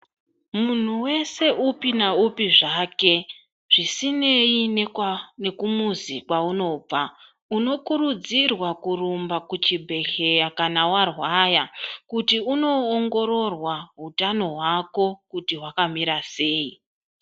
Muntu weshe upi naupi zvake zvisineyi nekumuzi kwaunobva unokurudzirwa kurumba kuchibhedhlera kana warwara kuti undoongororwa utano hwako kuti hwakamira sei.